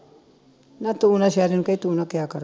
ਨਾ ਤੂੰ ਨਾ ਸ਼ੈਰੀ ਨੂੰ ਕਹੀਂ ਤੂੰ ਨਾ ਕਿਹਾ ਕਰ